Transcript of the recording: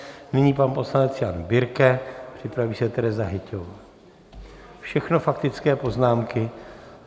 Nyní pan poslanec Jan Birke, připraví se Tereza Hyťhová, všechno faktické poznámky.